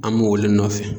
An b'o olu de nɔfɛ